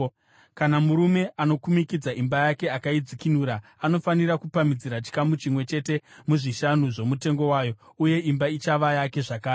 Kana murume anokumikidza imba yake akaidzikinura, anofanira kupamhidzira chikamu chimwe chete muzvishanu zvomutengo wayo. Uye imba ichava yake zvakare.